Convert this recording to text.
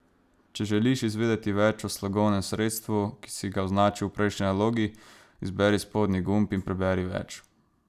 Če želiš izvedeti več o slogovnem sredstvu, ki si ga označil v prejšnji nalogi, izberi spodnji gumb in preberi več.